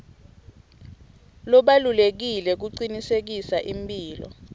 lobalulekile kucinisekisa imphilo